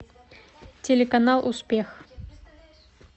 телеканал успех